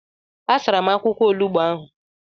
A sara m akwụkwọ olugbo ahụ.